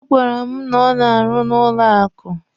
Ọ gwara m na ọ na-arụ na banki.